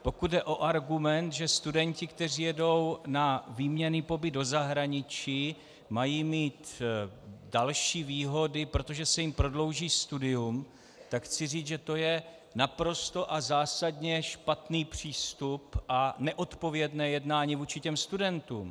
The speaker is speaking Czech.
Pokud jde o argument, že studenti, kteří jedou na výměnný pobyt do zahraničí, mají mít další výhody, protože se jim prodlouží studium, tak chci říct, že to je naprosto a zásadně špatný přístup a neodpovědné jednání vůči těm studentům.